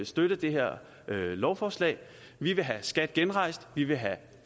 støtte det her lovforslag vi vil have skat genrejst vi vil have